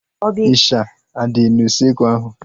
Ịsha adị n'usekwu ahu?